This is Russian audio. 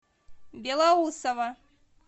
белоусово